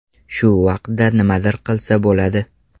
Shu vaqtda nimadir qilsa bo‘ladi.